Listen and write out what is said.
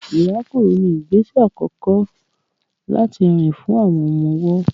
Ìrákòrò ní ìgbésẹ àkọkọ́ láti rìn fún àwọn ọmọ-ọwọ́